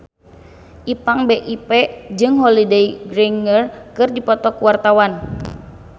Ipank BIP jeung Holliday Grainger keur dipoto ku wartawan